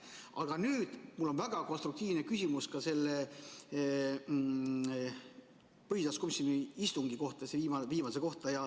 Aga nüüd mul on väga konstruktiivne küsimus ka selle põhiseaduskomisjoni istungi kohta, selle viimase kohta.